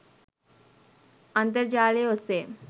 අන්තර් ජාලය ඔස්සේ